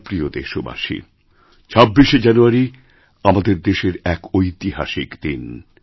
আমার প্রিয় দেশবাসী ২৬শে জানুয়ারি আমাদের দেশের এক ঐতিহাসিকদিন